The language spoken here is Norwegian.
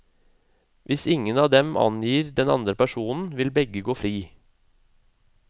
Hvis ingen av dem angir den andre personen, vil begge gå fri.